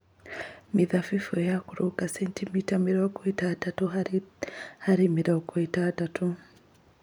Mĩthabibũ ya kũgũrũ centimita mĩrongo ĩtandatũ harĩ mĩrongo ĩtandatũ